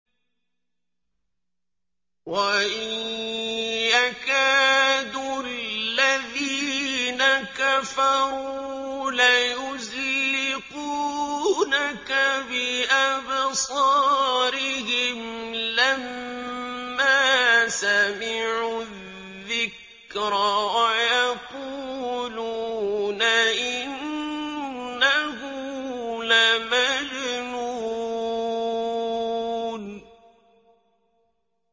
وَإِن يَكَادُ الَّذِينَ كَفَرُوا لَيُزْلِقُونَكَ بِأَبْصَارِهِمْ لَمَّا سَمِعُوا الذِّكْرَ وَيَقُولُونَ إِنَّهُ لَمَجْنُونٌ